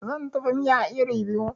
Zan dafa miya iri biyu